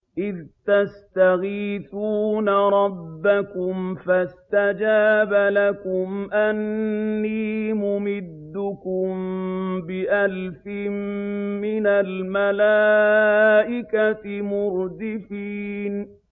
إِذْ تَسْتَغِيثُونَ رَبَّكُمْ فَاسْتَجَابَ لَكُمْ أَنِّي مُمِدُّكُم بِأَلْفٍ مِّنَ الْمَلَائِكَةِ مُرْدِفِينَ